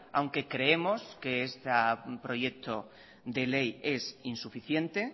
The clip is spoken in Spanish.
aunque creemos que este proyecto de ley es insuficiente